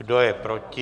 Kdo je proti?